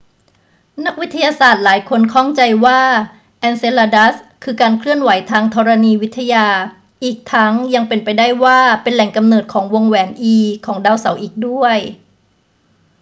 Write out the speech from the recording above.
นักวิทยาศาสตร์หลายคนข้องใจว่าเอนเซลาดัสคือการเคลื่อนไหวทางธรณีวิทยา อีกทั้งยังเป็นไปได้ว่าเป็นแหล่งกำเนิดของวงแหวน e ของดาวเสาร์อีกด้วย